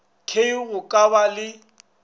k go ka ba le